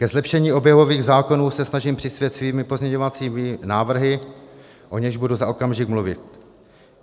K zlepšení oběhových zákonů se snažím přispět svými pozměňovacími návrhy, o nichž budu za okamžik mluvit.